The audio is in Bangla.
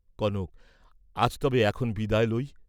কনক আজ তবে এখন বিদায় লই।